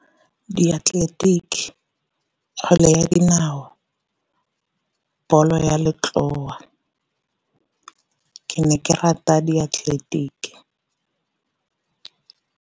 Diatleletiki, kgwele ya dinao, ball-o ya letloa, ke ne ke rata diatleletiki.